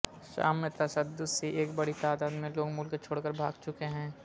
شام میں تشدد سے ایک بڑی تعداد میں لوگ ملک چھوڑ کر بھاگ چکے ہیں